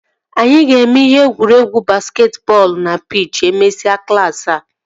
Anyị ga-eme ihe egwuregwu basketi bọọlụ na pich e mesịa klaasị a